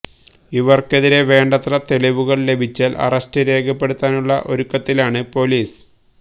ഇവർക്കെതിരെ വേണ്ടത്ര തെളിവുകൾ ലഭിച്ചാൽ അറസ്റ്റ് രേഖപ്പെടുത്താനുള്ള ഒരുക്കത്തിലാണ് പൊലീസ്